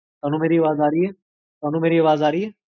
ਤੁਹਾਨੂ ਮੇਰੀ ਆਵਾਜ਼ ਆ ਰਹੀ ਹੈ? ਤ੍ਵਾਨੁ ਮੇਰੀ ਆਵਾਜ਼ ਆ ਰਹੀ ਹੈ?